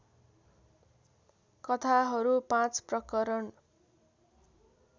कथाहरू पाँच प्रकरण